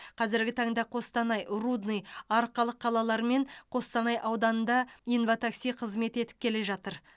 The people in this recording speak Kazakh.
қазіргі таңда қостанай рудный арқалық қалалары мен қостанай ауданында инва такси қызмет етіп келе жатыр